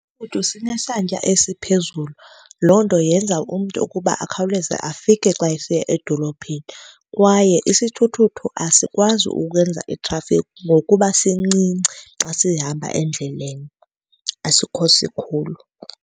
Isithuthuthu sinesantya esiphezulu. Loo nto yenza umntu ukuba akhawuleze afike xa esiya edolophini. Kwaye isithuthuthu asikwazi ukwenza itrafikhi ngokuba sincinci xa sihamba endleleni. Asikho sikhulu.